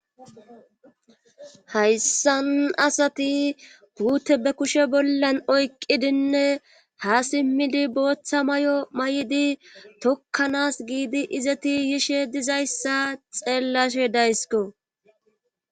hayssan asati puute be kushe bollan oyqqidinne ha simmidi booththa may7o may7di tokkanas giidi izeti yishe dizayssa xeellashe daysko